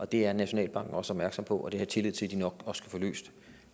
det er nationalbanken også opmærksom på og det har jeg tillid til de nok også skal få løst